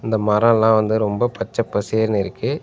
மரொல்லா வந்து ரொம்ப பச்ச பசேர்னு இருக்கு.